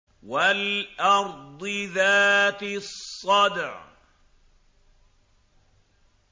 وَالْأَرْضِ ذَاتِ الصَّدْعِ